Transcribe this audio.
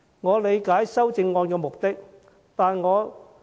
我理解修正案的目的。